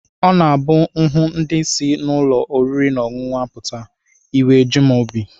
Ọ na-abụ m hụ ndị si n'ụlọ oriri na ọṅụṅụ apụta, iwe eju m obi